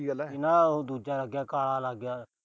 ਇਹਨਾਂ ਦਾ ਉਹ ਦੂਜਾ ਲੱਗ ਗਿਆ। ਕਾਲਾ ਲੱਗ ਗਿਆ।